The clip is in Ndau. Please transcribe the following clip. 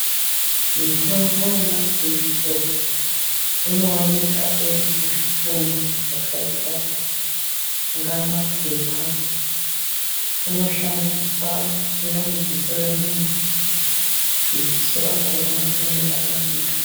Mitombo yemadziso inooneka iri muzvitumbi zvakaita kunge maphepha inoshandiswa kutheya mudziso remuntu kuti dziso rakona rione kurapika.